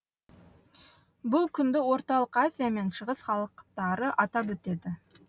бұл күнді орталық азия мен шығыс халықтары атап өтеді